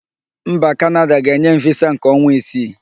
Mba Kanada ga-enye m visa nke ọnwa isii.